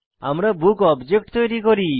আমরা book object তৈরী করি